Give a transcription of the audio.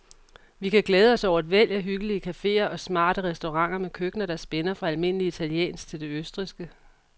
Vi kan glæde os over et væld af hyggelige caféer og smarte restauranter med køkkener, der spænder fra almindelig italiensk til det østrigske.